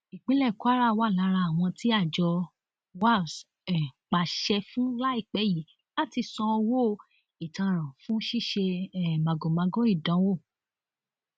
ìpínlẹ kwara wà lára àwọn tí àjọ wafc um pàṣẹ fún láìpẹ yìí láti san owó ìtanràn fún ṣíṣe um màgòmágó ìdánwò